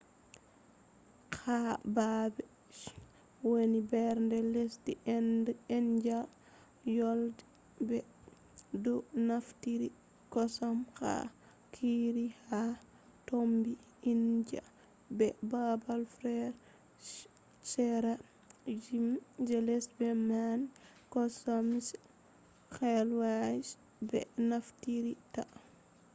ha baabe je woni nder lesdi india woyla be pakistan ɓe do naftira kosam ha curries; ha fombina india be baabe feere je seera ndiyam je lesdi man kosam kwakwa be naftirta